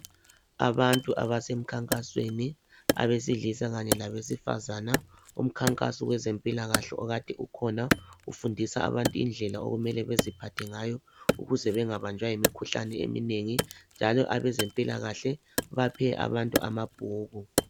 Abantu abasemkhankansweni abesilisa kanye labesifazana, umkhankaso wezempilakahle okade ukhona ufundisa abantu indlela okumele beziphathe ngayo ukuze bengabanjwa yimikhuhlane eminengi njalo abezempilakahle baphe abantu amabhuku